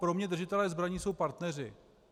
Pro mě držitelé zbraní jsou partneři.